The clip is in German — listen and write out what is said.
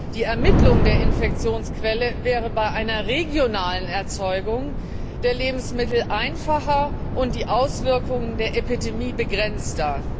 Die Ermittlung der Infektionsquelle wäre bei einer regionalen Erzeugung der Lebensmittel einfacher und die Auswirkungen der Epidemie wären begrenzter.